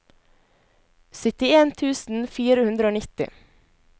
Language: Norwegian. syttien tusen fire hundre og nitti